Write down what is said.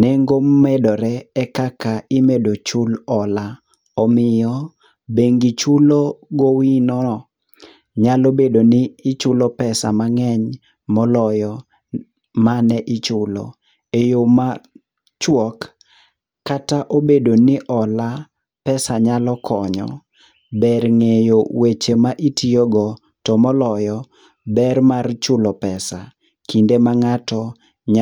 nengo medore, ekaka imedo chul hola. Omiyo bengi chulo gowino nyalo bedo ni ichulo pesa mang'eny moloyo mane ichulo. Eyo machuok kata obedo ni hola pesa nyalo konyo, ber ng'eyo weche ma itiyogo , to moloyo, ber mar chulo pesa kinde ma ng'ato nya